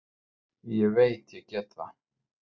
Ég veit ég get það.